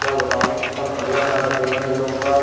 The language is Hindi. क्या बताऊं कितना बढ़िया खाना देते हैं ये लोग --